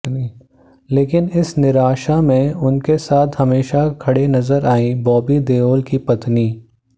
लेकिन इस निराशा में उनके साथ हमेशा खड़े नजर आई बॉबी देओल की पत्नि